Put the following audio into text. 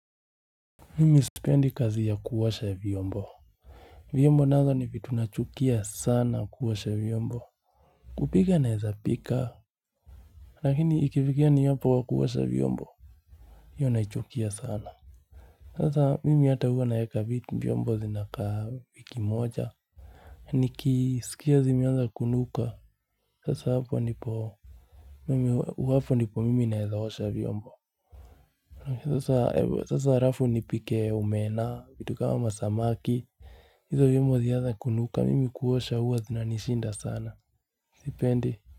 Mimi sipendi kazi ya kuosha vyombo vyombo nazo ni vitu nachukia sana kuosha vyombo kupika naeza pika Lakini ikifikia ni hapo kwa kuosha vyombo hiyo naichukia sana Sasa mimi hata huwa naeka vitu vyombo zinakaa wiki moja Nikisikia zimeanza kunuka sasa hapo ndipo Mimi hapo ndipo mimi naeza osha vyombo Sasa halafu nipike omena vitu kama masamaki hizo vyombo zianze kunuka mimi kuosha huwa zinanisinda sana sipendi.